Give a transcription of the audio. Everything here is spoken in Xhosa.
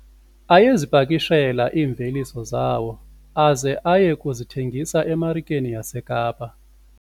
Ayezipakishela iimveliso zawo aze aye kuzithengisa emarikeni yaseKapa.